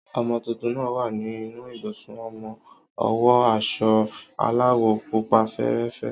ọmọ tuntun náà wà ní inú ibùsùn ọmọ, o wo aso aláwò pupa fẹẹrẹ fe